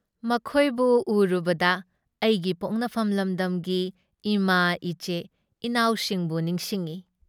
ꯃꯊꯣꯏꯕꯨ ꯎꯔꯨꯕꯗ ꯑꯩꯒꯤ ꯄꯣꯛꯅꯐꯝ ꯂꯝꯗꯝꯒꯤ ꯏꯃꯥ ꯏꯆꯦ ꯏꯅꯥꯎꯁꯤꯡꯕꯨ ꯅꯤꯡꯁꯤꯡꯏ ꯫